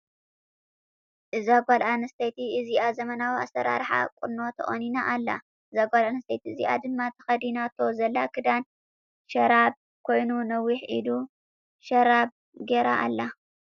እዛ ጓል ኣነስተይቲ እዚኣ ዘመናዊ ኣሰራረሓ ቁኖ ተቆኒና ኣላ። እዛ ጓለ ኣነስተይቲ እዚኣ ድማ ተከዲናቶ ዘላ ክዳን ሽራብ ኮይኑ ነዊሕ ኢዱ ሽራብ ጌራ ኣላ።